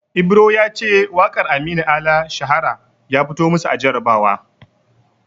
Ibro ya ce waƙar Aminu Ala "Shahara" ya fito masu a jarabawa.